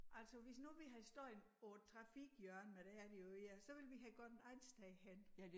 Altså hvis nu vi havde stået på et trafikhjørne men det er det jo ikke så ville vi have gået et andet sted hen